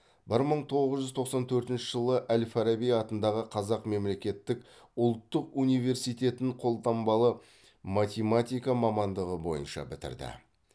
бір мың тоғыз жүз тоқсан төртінші жылы әл фараби атындағы қазақ мемлекеттік ұлттық университетін қолданбалы математика мамандығы бойынша бітірді